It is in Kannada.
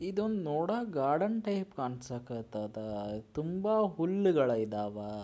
ಇದನ್ ನೋಡ ಗಾರ್ಡನ್ ಟೈಪ್ ಕಾಣ್ಸಕತದ ತುಂಬಾ ಹುಲ್ಲುಗಳಿದವ.